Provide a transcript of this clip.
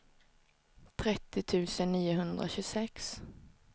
trettio tusen niohundratjugosex